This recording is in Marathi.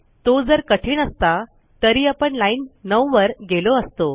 तो जर कठीण असता तरी आपण लाईन 9वर गेलो असतो